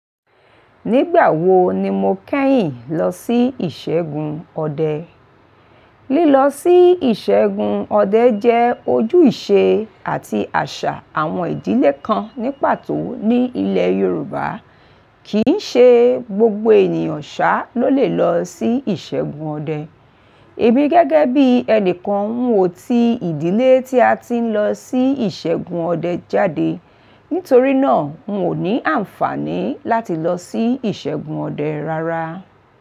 Nígbà wo ni mo kẹ́yìn lọ sí ìṣẹ́gun ọdẹ? Lílọ sí ìṣẹ́gun ọdẹ jẹ́ ojúìṣe àti àṣà àwọn ìdílé kan ní pàtó ní ilẹ̀ Yorùbá. Kìí ṣe gbogbo ènìyàn ṣá ló lè lọ sí ìṣẹ́gun ọdẹ. Èmi gẹ́gẹ́ bí ẹni kan ng ò ti ìdílé tí a ti ń lọ sí ìṣẹ́gun ọdẹ jáde. Nítorí náà, n ò ní àǹfààní láti lọ sí ìṣẹ́gun ọdẹ rárá.